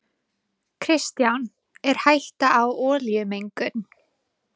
Kristján: Er hætta á olíumengun?